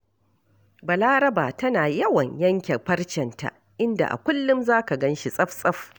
Balaraba tana yawan yanke farcenta, inda a kullum za ka gan shi tsaf-tsaf